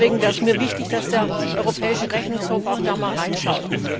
Deswegen wäre es mir wichtig, dass der Europäische Rechnungshof auch da mal reinschaut.